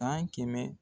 San kɛmɛ